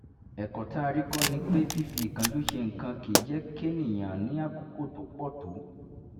ẹ̀kọ́ tá a rí kọ́ ni pé fífi ìkánjú ṣe nǹkan kì í jẹ́ kéèyàn ní àkókò tó pọ̀ tó